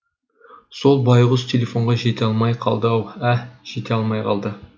сол байғұс телефонға жете алмай қалды ау ә жете алмай қалды